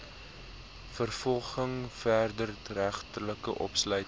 vervolging wederregtelike opsluiting